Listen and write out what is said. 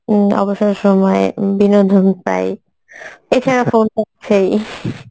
উম অবসর সময় ইম বিনোদন পাই এছাড়া phone পাচ্ছেই